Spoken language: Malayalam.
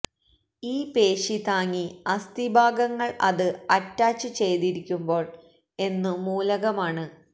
ഈ പേശി താങ്ങി അസ്ഥി ഭാഗങ്ങൾ അത് അറ്റാച്ചുചെയ്തിരിക്കുമ്പോൾ എന്നു മൂലകമാണ്